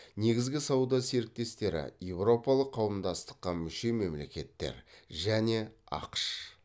негізгі сауда серіктестері еуропалық қауымдастыққа мүше мемлекеттер және ақш